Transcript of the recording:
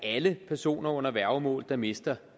alle personer under værgemål der mister